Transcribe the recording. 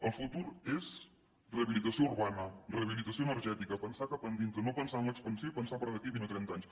el futur és rehabilitació urbana rehabilitació energètica pensar cap endintre no pensar en l’expansió i pensar per a d’aquí vint o trenta anys